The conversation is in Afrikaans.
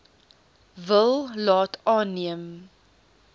wil laat aanneem